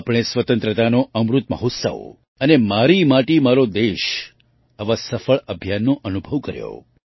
આપણે સ્વતંત્રતાનો અમૃત મહોત્સવઅને મારી માટી મારો દેશ આવાં સફળ અભિયાનનો અનુભવ કર્યો